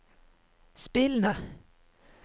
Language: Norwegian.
spillende